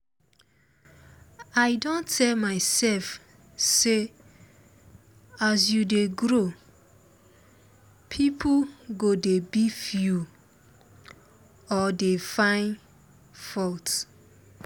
i don tell mysef say as u dey grow pipo go dey beef you or dey fine fault